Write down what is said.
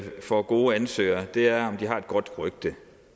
får gode ansøgere er om de har et godt rygte